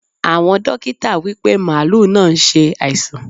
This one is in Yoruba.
Àwọn dókítà wípé màálù náà ṣe àìsàn.